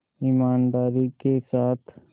ईमानदारी के साथ